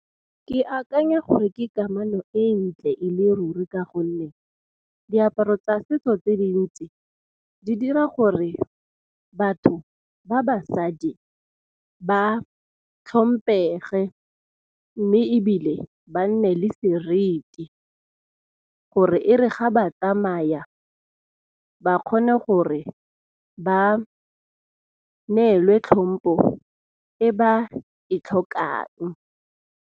Ke akanya gore ke kamano e ntle e le ruri ka gonne diaparo tsa setso tse dintsi, di dira gore batho ba basadi ba tlhomphege mme ebile ba nne le seriti, gore e re ga ba tsamaya ba kgone gore ba neelwe tlhompo e ba e tlhokang.